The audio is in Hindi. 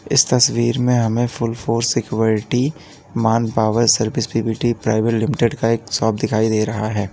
इस तस्वीर में हमें full force security manpower service P V T private limited का एक शॉप दिखाई दे रहा है।